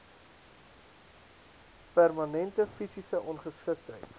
permanente fisiese ongeskiktheid